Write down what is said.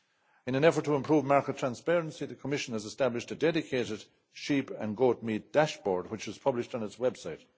In an effort to improve market transparency, the Commission has established a dedicated sheep and goatmeat dashboard, which is published on its website.